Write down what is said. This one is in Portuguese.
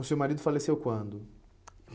O seu marido faleceu quando?